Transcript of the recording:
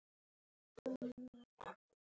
Ert þú þessi maður?